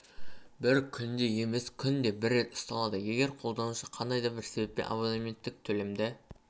бір күнде емес күнде бір рет ұсталады егер қолданушы қандай да бір себеппен абоненттік төлемді